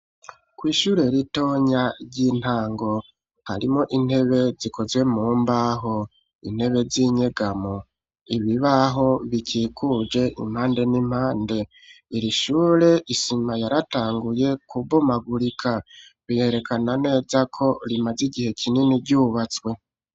Kw'ishyure ritonya, ry'intango, harimwo intebe, zikozwe mu mbaho, intebe z'inyegamo, ibibaho bikikuje impande n'impande; iri shure, isima yaratanguye kubomagurika, biherekana neza ko, rimaze igihe kinini ryubatswe.